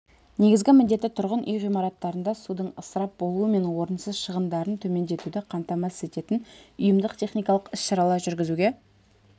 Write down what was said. негізгі міндеті тұрғын үй ғимараттарында судың ысырап болуы мен орынсыз шығындарын төмендетуді қамтамасыз ететін ұйымдық-техникалық іс-шаралар жүргізуге